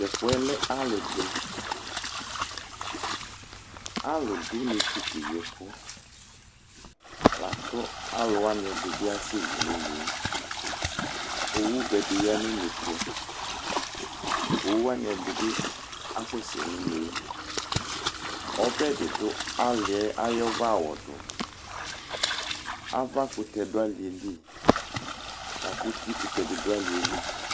to ɛfuɛ lɛ ali di alo do une to keyi ɛko lako alowani edi bi asɛ li no une yɛ owu vɛ di ya no une to owu wani ɛdi bi asɛ sɛ no une yɛ ɔbɛ di do ali yɛ ayi ɔvɛ awɔ do avakutɛ do ali yɛ li lako uti kutɛ bi do ali yɛ li